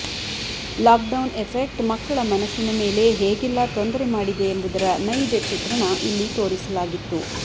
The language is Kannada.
ಲಾಕ್ ಡೌನ್ ಎಫೆಕ್ಟ್ ಮಕ್ಕಳ ಮನಸಿನ ಮೇಲೆ ಹೇಗೆಲ್ಲಾ ತೊಂದರೆ ಮಾಡಿದೆ ಎಂಬುದರ ನೈಜ ಚಿತ್ರಣ ಇಲ್ಲಿ ತೋರಿಸಲಾಗಿತ್ತು